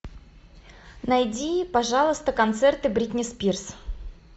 найди пожалуйста концерты бритни спирс